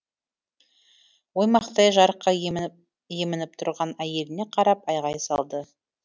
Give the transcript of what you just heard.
оймақтай жарыққа емініп тұрған әйеліне қарап айғай салды